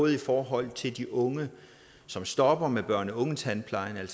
i forhold til de unge som stopper med børne og ungetandplejen